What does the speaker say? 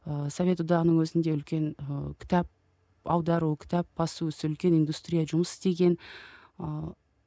ыыы совет одағының өзінде үлкен ы кітап аудару кітап басу ісі үлкен индустрия жұмыс істеген ыыы